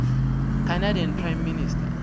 canadian prime minister